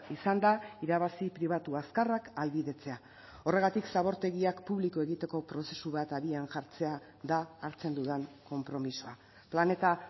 izan da irabazi pribatu azkarrak ahalbidetzea horregatik zabortegiak publiko egiteko prozesu bat abian jartzea da hartzen dudan konpromisoa planeta